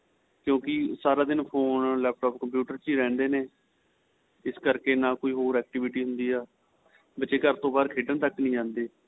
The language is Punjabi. ਕਿਉਂਕਿ ਸਾਰਾ ਦਿਨ ਫੋਨ laptop computer ਚ ਹੀ ਰਹਿੰਦੇ ਨੇ ਇਸ ਕਰਕੇ ਨਾ ਕੋਈ ਹੋਰ activity ਹੁੰਦੀ ਏ ਬੱਚੇ ਘਰ ਤੋ ਬਹਾਰ ਖੇਡਣ ਤੱਕ ਨਹੀਂ ਜਾਂਦੇ